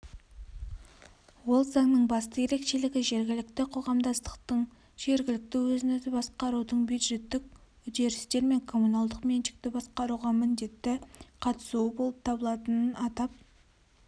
ол заңның басты ерекшелігі жергілікті қоғамдастықтың жергілікті өзін өзі басқарудың бюджеттік үдерістер мен коммуналдық меншікті басқаруға міндетті қатысуы болып табылатынын атап